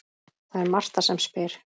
Það er Marta sem spyr.